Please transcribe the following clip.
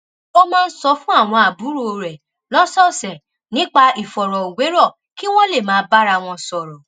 ó máa ń sọ fún àwọn àbúrò rẹ̀ lọ́sọ̀ọ̀sẹ̀ nípa ìfọ̀rọ̀wérọ̀ kí wọ́n lè máa bára wọn sọ̀rọ̀